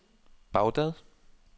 Baghdad